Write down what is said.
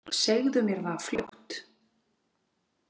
Segðu mér það fljótt.